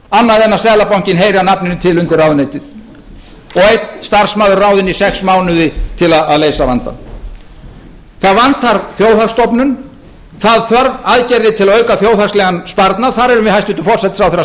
annað en seðlabankinn heyri að nafninu til undir ráðuneytið og einn starfsmaður ráðinn í sex mánuði til að leysa vandann það vantar þjóðhagsstofnun það þarf aðgerðir til að auka þjóðhagslegan sparnað þar erum við hæstvirtan forsætisráðherra